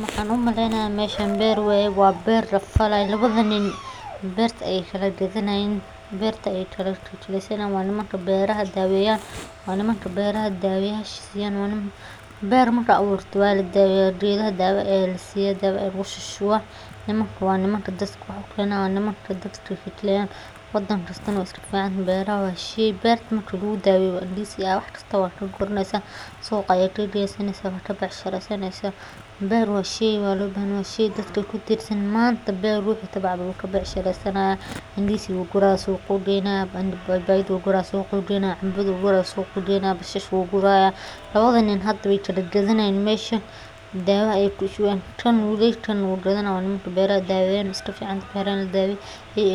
Maxan umaleynaya meeshan beer lafalaya lawadhan nin beerta ayey kala gadhanayan, beerta eyey kala ki kalesanayin waa nimanka beeraha daweyan, beer marka aburto waladaweya dawa aya lasiya dawa aya lagu shushuwa nimankan waa nimanka dadka wax u kenan wadan kastana we iska ficantahay beerta marki lagu daweyo wax kista aya ka guraneysa suqa aya geynesa waa ka becshireysaneysa, beer waa lo bahanyahay waa shey dadka kutirsan manta ninki beer tabcadho wuu ka becshireysanaya indisiga ayu guraya suq ayu geynaya baybayda u gura suqa ayu geynaya canbada ayu guraya suqa ayu geynaya bashasha ayu guraya lawadhan nin we kala gadhani hayan hada mesha dawa ayey kushuwen kan wu gadani haya waa kuwa beeraha daweya waa kuwa kufican beeraha daweynaya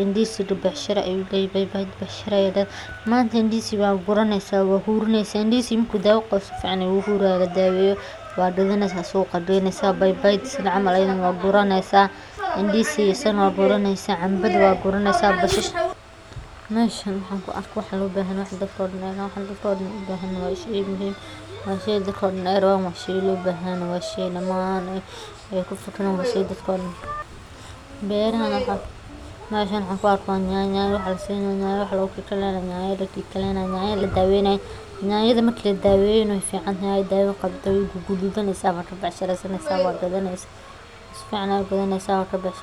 indisiga becshira ayu leyahay, manta indisi waa guraneysa waa hurineysa marka indisi dawo u qawo sifican ayu uhuri marki ladaweyo waa gadaneysa suqa aya geynesa bay bayda camal ayadana waa guraneysa indisiga waa guraneysa basasha meshan waxan ku arka wax lo bahan yahay washey dadka oo dan ee rawan waa shey lo bahan yahay waa shey dadka oo dan ee ku fikiran meshan waxan ku arka nyanyo wax lasinayo nyanyo dadka lasinayo nyanya ladaweynayo, marki ladaqeyo qey ficantahay wey gadudaneysa waa gadanesa sifican aya u ibsaneysa.